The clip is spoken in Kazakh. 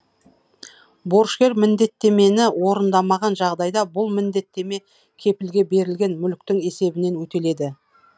борышкер міндеттемені орындамаған жағдайда бұл міндеттеме кепілге берілген мүліктің есебінен өтеледі